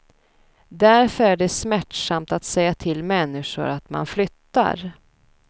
Därför är det smärtsamt att säga till människor att man flyttar.